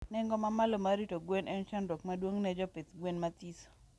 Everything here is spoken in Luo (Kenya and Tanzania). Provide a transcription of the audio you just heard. Nengo ma malo mar rito gwen en chandruok maduong ne jopidh gwen mathiso